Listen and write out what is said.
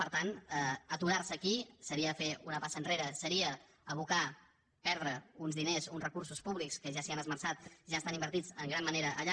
per tant aturar se aquí seria fer una passa enrere seria abocar perdre uns diners uns recursos públics que ja s’hi han esmerçat ja estan invertits en gran manera allà